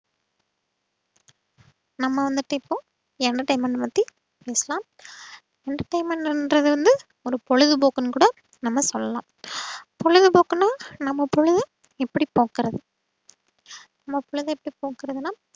நம்ம வந்துட்டு இப்போ entertainment பத்தி பேசலாம். entertainment என்றது வந்து ஒரு பொழுதுபோக்குன்னு கூட நம்ம சொல்லலாம். பொழுதுபோக்குன்னா நம்ம பொழுது எப்படி போக்குறது நம்ம பொழுது எப்படி போக்குறதுன்னா